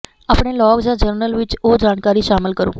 ਆਪਣੇ ਲੌਗ ਜਾਂ ਜਰਨਲ ਵਿਚ ਉਹ ਜਾਣਕਾਰੀ ਸ਼ਾਮਲ ਕਰੋ